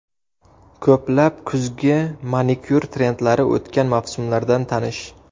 Ko‘plab kuzgi manikyur trendlari o‘tgan mavsumlardan tanish.